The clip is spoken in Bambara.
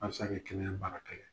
Halisa kɛ kɛnɛya baara kɛ